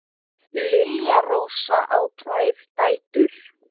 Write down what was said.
Lilja Rósa á tvær dætur.